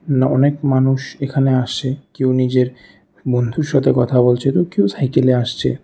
না অনেক মানুষ এখানে আসে কেউ নিজের বন্ধুর সাথে কথা বলছে এবং কেউ সাইকেলে আসছে।